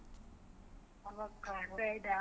Avocado ಅಂದ್ರೆ ಇದಾ.